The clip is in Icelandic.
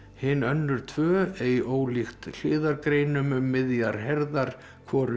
hin önnur tvö ei ólíkt hliðargreinum um miðjar herðar hvorum